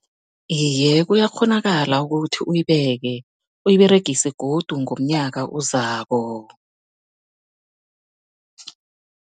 Iye, kuyakghonakala ukuthi uyibeke, uyiberegise godu ngomnyaka ozako.